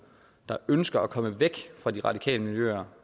der ønsker at komme væk fra de radikale miljøer